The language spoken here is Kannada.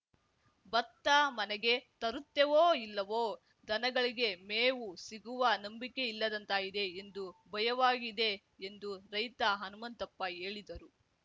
ಭತ್ತ ಮನೆಗೆ ತರುತ್ತೇವೋ ಇಲ್ಲವೋ ದನಗಳಿಗೆ ಮೇವು ಸಿಗುವ ನಂಬಿಕೆ ಇಲ್ಲದಂತಾಗಿದೆ ಎಂದು ಭಯವಾಗಿದೆ ಎಂದು ರೈತ ಹನುಮಂತಪ್ಪ ಹೇಳಿದರು